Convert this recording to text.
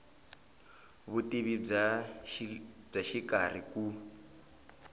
vutivi bya le xikarhi ku